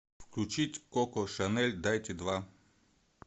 включить коко шанель дайте два